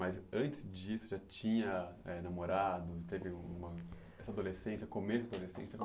Mas antes disso já tinha eh namorado, teve uma essa adolescência, começo da adolescência?